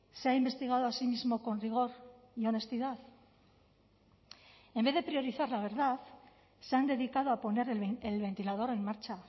sea investigado a sí mismo con rigor y honestidad en vez de priorizar la verdad se han dedicado a poner el ventilador en marcha